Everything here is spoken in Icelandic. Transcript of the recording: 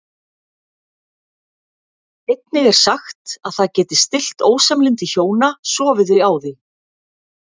Einnig er sagt að það geti stillt ósamlyndi hjóna sofi þau á því.